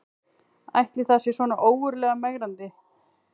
Ætli það sé svona ógurlega megrandi